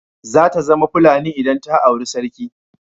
Zata zama Fulani idan ta auri sarki.